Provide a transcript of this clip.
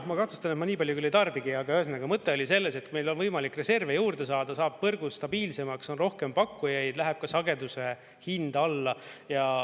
Ma kahtlustan, et ma nii palju küll ei tarbigi, aga ühesõnaga, mõte oli selles, et kui meil on võimalik reserve juurde saada, saab võrgu stabiilsemaks, on rohkem pakkujaid, läheb ka sageduse hind alla.